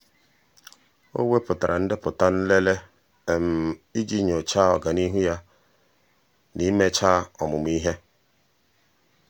ọ́ wèpụ̀tárà ndepụta nlele iji nyòcháá ọ́gànihu ya na íméchá ọ́mụ́mụ́ ihe.